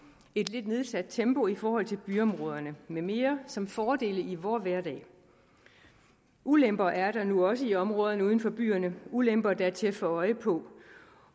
et lidt nedsat tempo i forhold til byområderne med mere som fordele i vor hverdag ulemper er der nu også i områderne uden for byerne det ulemper der er til at få øje på